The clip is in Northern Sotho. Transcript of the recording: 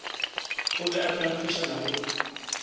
a be a phenkgišana le